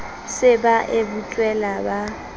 se ba e butswela ba